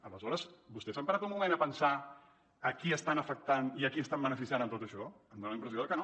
aleshores vostès s’han parat un moment a pensar a qui estan afectant i a qui estan beneficiant amb tot això em fa la impressió que no